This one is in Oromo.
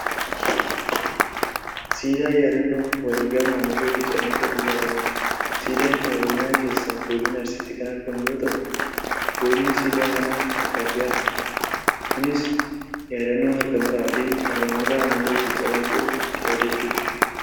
Siidaa yaadannoo wareegama Aanolee fi Calanqoof ijaarameedha. Siidaan kun Oromiyaa keessaa godina Arsiitti kan argamu yoo ta'u bocni siidaa kanaa harkaa fi harma. Kunis yaadannoo harka muraa fi harma muraa Aanolee fi Calanqoo yaadachuuf.